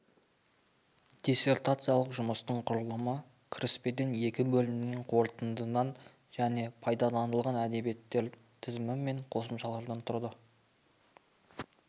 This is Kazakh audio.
дисертациялық жұмыстың құрылымы кіріспеден екі бөлімнен қорытындыдан және пайдаланылған әдебиеттер тізімі мен қосымшалардан тұрды